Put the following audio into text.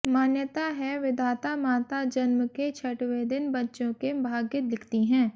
मान्यता है विधाता माता जन्म के छठवें दिन बच्चों के भाग्य लिखती हैं